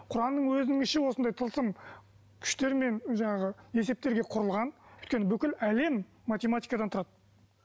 құранның өзінің іші осындай тылсым күштермен жаңағы есептерге құрылған өйткені бүкіл әлем математикадан тұрады